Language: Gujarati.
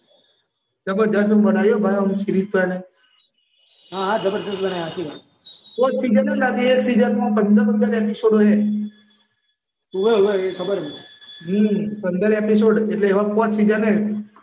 જબરજસ્ત બનાવી અમુક સિરીઝ તો યાર હ હ જબરજસ્ત બનાઈ હાચી વાત પાંચ સીઝન હ સીઝનમાં એપિસોડ અહે ઓવ ઓવ ખબર છ